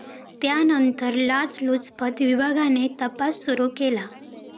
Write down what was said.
त्यानंतर लाचलुचपत विभागाने तपास सुरू केला.